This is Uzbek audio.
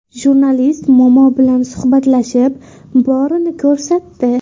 Jurnalist momo bilan suhbatlashib, borini ko‘rsatdi.